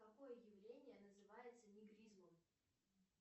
какое явление называется негризмом